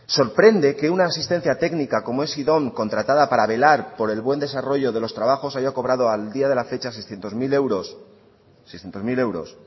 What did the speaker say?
sorprende que una asistencia técnica como es idom contratada para velar por el buen desarrollo de los trabajos haya cobrado al día de la fecha seiscientos mil euros